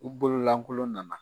U bololankolon nana